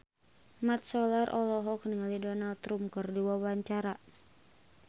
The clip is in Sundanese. Mat Solar olohok ningali Donald Trump keur diwawancara